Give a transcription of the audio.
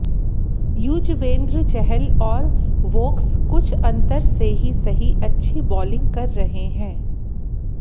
युजवेंद्र चहल और वोक्स कुछ अंतर से ही सही अच्छी बॉलिंग कर रहे हैं